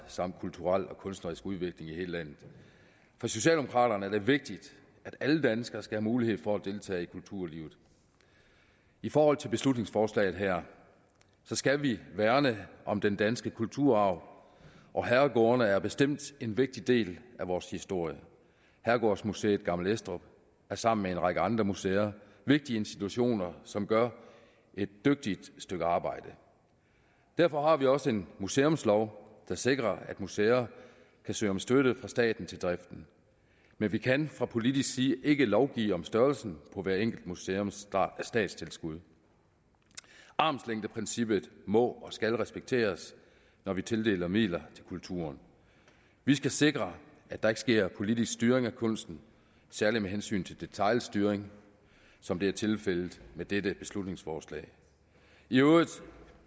samt kulturel og kunstnerisk udvikling i hele landet for socialdemokraterne er det vigtigt at alle danskere skal have mulighed for at deltage i kulturlivet i forhold til beslutningsforslaget her skal vi værne om den danske kulturarv og herregårdene er bestemt en vigtig del af vores historie herregårdsmuseet gammel estrup er sammen med en række andre museer vigtige institutioner som gør et dygtigt stykke arbejde derfor har vi også en museumslov der sikrer at museer kan søge om støtte fra staten til driften men vi kan fra politisk side ikke lovgive om størrelsen på hver enkelt museums statstilskud armslængdeprincippet må og skal respekteres når vi tildeler midler til kulturen vi skal sikre at der ikke sker politisk styring af kunsten særlig med hensyn til detailstyring som det er tilfældet med dette beslutningsforslag i øvrigt